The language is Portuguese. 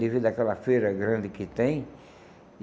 Devido àquela feira grande que tem.